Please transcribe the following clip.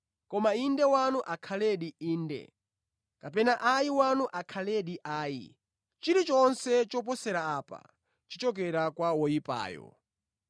Koma ‘Inde’ wanu akhaledi ‘Inde’ kapena ‘Ayi’ wanu akhaledi ‘Ayi,’ chilichonse choposera apa, chichokera kwa woyipayo.